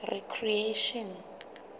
recreation